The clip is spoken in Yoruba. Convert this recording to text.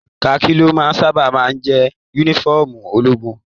Khaki lo sábà máa jẹ yúnífọ̀ọ́mù ológun.